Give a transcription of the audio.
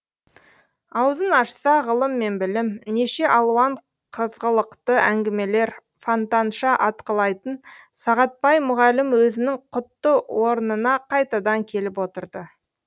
аузын ашса ғылым мен білім неше алуан қызғылықты әңгімелер фонтанша атқылайтын сағатбай мұғалім өзінің құтты орнына қайтадан келіп отырды